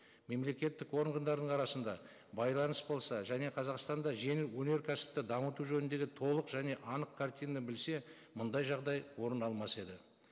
мемлекеттік органдарының арасында байланыс болса және қазақстанда жеңіл өнеркәсіпті жамыту жөніндегі толық және анық картинаны білсе мұндай жағдай орын алмас еді